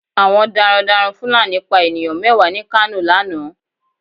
Àwọn daran daran Fulani pa ènìyàn mẹ́wàá ni kano lánàá